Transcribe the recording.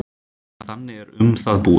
Þannig er um það búið.